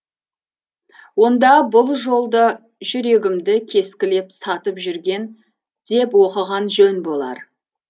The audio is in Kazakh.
онда бұл жолды жүрегімді кескілеп сатып жүрген деп оқыған жөн болар